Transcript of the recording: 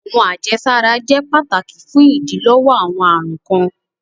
Awọn ajesara jẹ pátàkì fún idílọ́wọ́ awọn arùn kan.